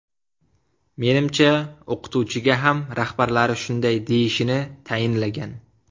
Menimcha, o‘qituvchiga ham rahbarlari shunday deyishini tayinlagan.